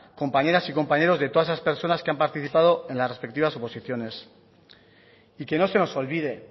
compañeras y compañeros de todas esas personas que han participado en las respectivas oposiciones y que no se nos olvide